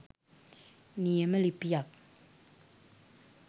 නියම ලිපියක්